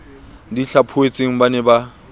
di hlaphohetsweng ba ne ba